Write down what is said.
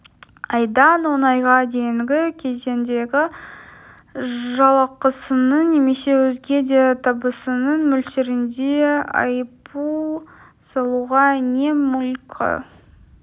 айдан он айға дейінгі кезеңдегі жалақысының немесе өзге де табысының мөлшерінде айыппұл салуға не мүлкі